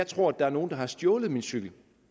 tror at der er nogen der har stjålet min cykel